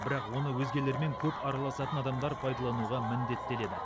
бірақ оны өзгелермен көп арласатын адамдар пайдалануға міндеттеледі